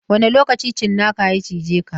Wane lokaci tsinakan ya cije ka?